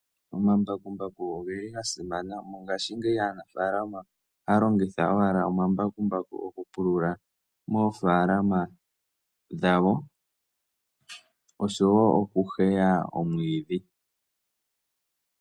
Omambakumbaku ogeli ga simana. Mongaashingeyi aanafaalama ohaya longitha owala omambakumbaku oku pulula moofaalama dhawo, oshowo oku heya omwiidhi.